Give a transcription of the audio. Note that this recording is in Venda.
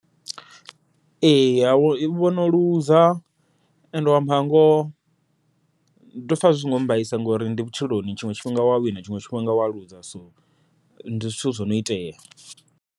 Ee wono luza ende u amba ngoho ndo pfha zwi songo mbaisa ngori ndi vhutshiloni, tshiṅwe tshifhinga wa wina tshiṅwe tshifhinga wa luza so ndi zwithu zwono itea.